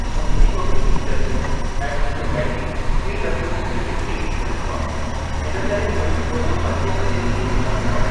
मुंहिंजी mummy teacher हुई ऐं मुंहिंजो डेडी पी डब्ल्यू डी में डिप्टी इंजीनियर हुआ। इन करे उहे सुबुह जो पंजे बजे उथी वेंदा हुआ।